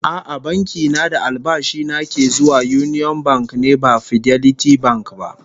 A'a, banki na da albashi na ke zuwa Union Bank ne ba Fidelity Bank ba